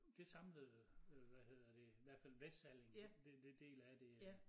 Det samlede hvad hedder det i hvert fald Vestsalling det det del af det øh